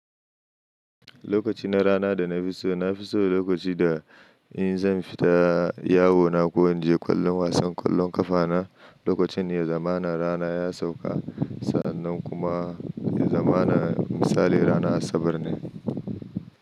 Lokaci na rana da na fi so na fi so lokaci da in zan fita yawo na ko in je kallon wasan kwallon kafa na, lokacin ne zaman rana ya sauka. Sa'annan kuma zamanin misali rana Asabar ne.